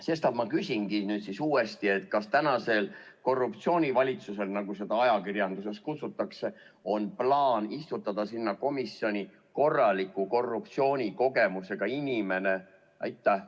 Sestap ma küsingi nüüd uuesti: kas tänasel korruptsioonivalitsusel, nagu seda ajakirjanduses kutsutakse, on plaan istutada sinna komisjoni korraliku korruptsioonikogemusega inimene?